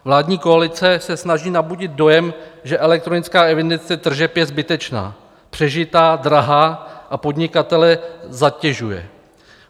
Vládní koalice se snaží nabudit dojem, že elektronická evidence tržeb je zbytečná, přežitá, drahá a podnikatele zatěžuje.